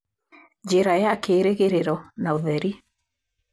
Njĩra ya kĩĩrĩgĩrĩro na ũtheri.'